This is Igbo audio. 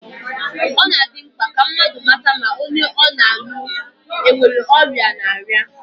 Ọ na-adị mkpa ka mmadụ mata ma onye ọ na-alụ enwere ọrịa ọ na-arịa